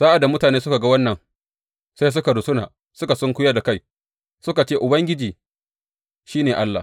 Sa’ad da mutane suka ga wannan, sai suka rusuna, suka sunkuyar da kai suka ce, Ubangiji, shi ne Allah!